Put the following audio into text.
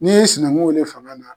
N'i y'i sinankun wele fanga na.